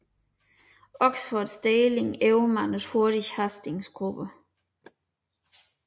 Oxfords deling overmandede hurtigt Hastings gruppe